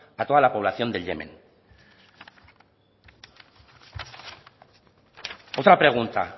a toda la población del yemen otra pregunta